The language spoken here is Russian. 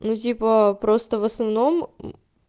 узи по просто в основном